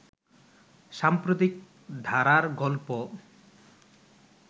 সাম্প্রতিক ধারার গল্প